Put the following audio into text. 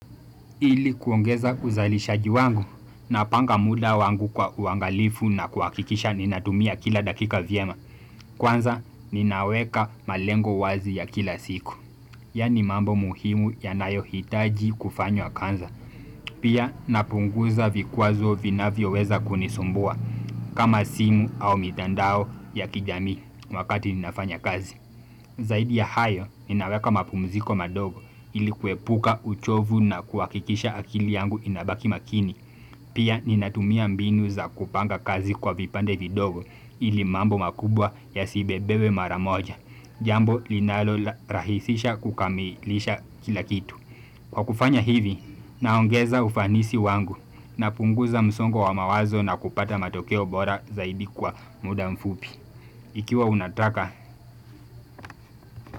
Ili kuongeza uzalishaji wangu napanga muda wangu kwa uangalifu na kuhakikisha ninatumia kila dakika vyema. Kwanza ninaweka malengo wazi ya kila siku. Yaani mambo muhimu yanayohitaji kufanywa kwanza Pia napunguza vikwazo vinavyoweza kunisumbua kama simu au mitandao ya kijamii wakati ninafanya kazi Zaidi ya hayo, ninaweka mapumziko madogo ili kuepuka uchovu na kuhakikisha akili yangu inabaki makini. Pia ninatumia mbinu za kupanga kazi kwa vipande vidogo ili mambo makubwa yasibebewe mara moja. Jambo linalorahisisha kukamilisha kila kitu. Kwa kufanya hivi, naongeza ufanisi wangu napunguza msongo wa mawazo na kupata matokeo bora zaidi kwa muda mfupi. Ikiwa unataka.